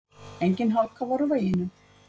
Engin hálka var á veginum